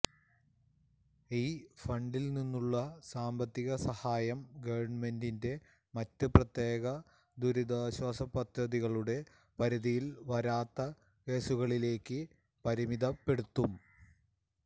ഈ ഫണ്ടിൽ നിന്നുള്ള സാമ്പത്തിക സഹായം ഗവൺമെന്റിന്റെ മറ്റ് പ്രത്യേക ദുരിതാശ്വാസ പദ്ധതികളുടെ പരിധിയിൽ വരാത്ത കേസുകളിലേക്ക് പരിമിതപ്പെടുത്തും